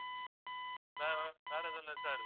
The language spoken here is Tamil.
வேற எதுவும் இல்லை sir